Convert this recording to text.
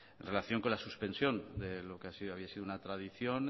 en relación con la suspensión de lo que así había sido una tradición